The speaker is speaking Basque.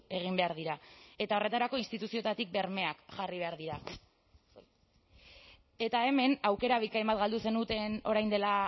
egin behar dira eta horretarako instituzioetatik bermeak jarri behar dira eta hemen aukera bikain bat galdu zenuten orain dela